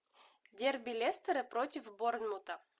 дерби лестера против борнмута